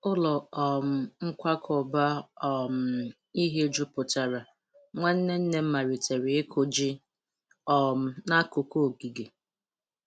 Ụlọ um nkwakọba um ihe juputara, nwanne nne m malitere ịkụ ji um n'akụkụ ogige.